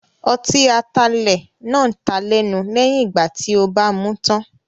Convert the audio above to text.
Ọtí atalẹ̀ náà taa lẹ́nu lẹ́yìn ìgbà tí ó bàa mú tán.